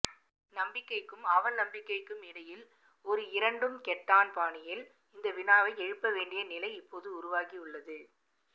நம்பிக்கைக்கும் அவநம்பிக்கைக்கும்இடையில் ஒரு இரண்டும் கெட்டான் பாணியில் இந்த வினாவை எழுப்பவேண்டிய நிலை இப்போது உருவாகியுள்ளது